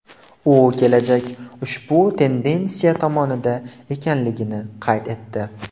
U kelajak ushbu tendensiya tomonida ekanligini qayd etdi.